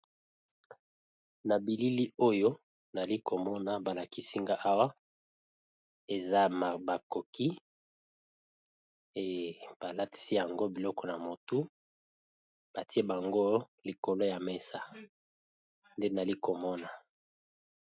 Na bilili oyo nazalikomona eza ekeko balatisi yango biloko na mutu batiye yango na likolo ya mesa nde nazomona Awa .